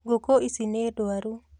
Ngũkũ ici nĩ ndwaru